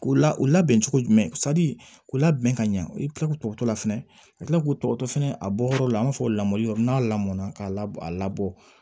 O la u labɛn cogo jumɛn k'u labɛn ka ɲɛ u bɛ tila k'u tɔgɔ to la fɛnɛ ka kila k'u tɔgɔ to fɛnɛ a bɔyɔrɔ la an b'a fɔ lamɔli yɔrɔ n'a lamɔnna k'a labɔ